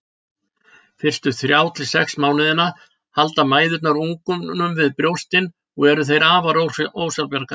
Fyrstu þrjá til sex mánuðina halda mæðurnar ungunum við brjóstin og eru þeir afar ósjálfbjarga.